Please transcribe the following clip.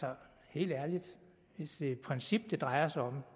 helt ærligt hvis det er et princip det drejer sig om